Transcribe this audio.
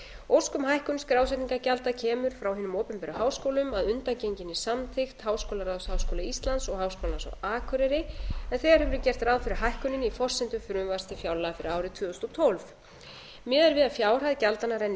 ósk um hækkun skrásetningargjalda kemur frá hinum opinberu háskólum að undangenginni samþykkt háskólaráðs háskóla íslands og háskólans á akureyri en þegar hefur verið gert ráð fyrir hækkuninni í forsendum frumvarps til fjárlaga fyrir árið tvö þúsund og tólf miðað er við að fjárhæð gjaldanna renni